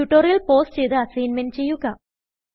tutorial pause ചെയ്ത് assignment ചെയ്യുക